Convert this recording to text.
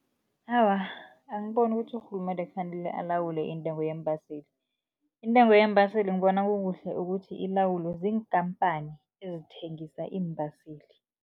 Awa, angiboni ukuthi urhulumende kufanele alawule intengo yeembaseli. Intengo yeembaseli ngibona kukuhle ukuthi, ilawulwe ziinkhamphani ezithengisa iimbaseli.